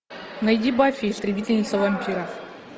найди баффи истребительница вампиров